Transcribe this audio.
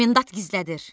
Komendant gizlədir.